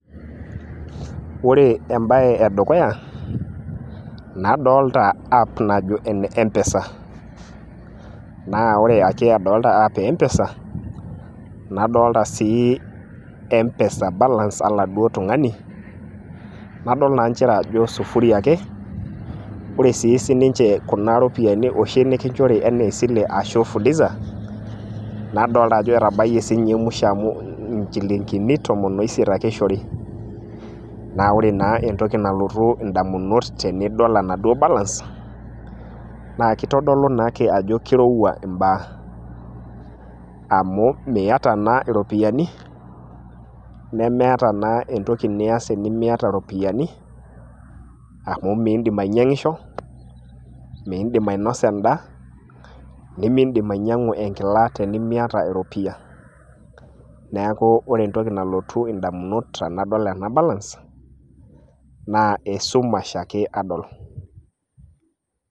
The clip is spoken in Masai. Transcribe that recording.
ore ebae edukuya nadoolta a app najo ene mpesa, nadoolta sii mpesa balance oladuo tungani, nadol naa nchere sufuri ake. ore siii ninche kuna ropiyiani nikinchori anaa esile ashu fuliza, nadolta ajo etabayie sii ninye musho amu inchilinkini tomon oisiet ake eishori, naa ore naa entoki nalotu idamunot tenidol enaduoo balance naa kitodolu naake ajo kirowua imbaa, amu miata naa iropiyiani, nemeeta naa entoki nias tenimiata iropiyiani, amu miidim ainyiang'isho, miidim ainosa edaa, nemidim ainyiang'u enkila tenimiata eropiyia, neeku ore entoki nalotu idamunot tenadol ena balance, naa esumash ake adol.